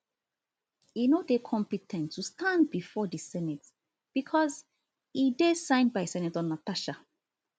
e no dey compe ten t to stand bifor di senate becos e dey signed by senator natasha